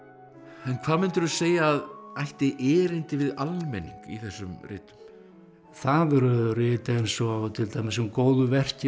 en hvað mundirðu segja að ætti erindi við almenning í þessum ritum það eru rit eins og til dæmis um góðverkin